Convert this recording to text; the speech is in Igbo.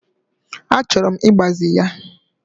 Achọrọ m ịgbaze ya.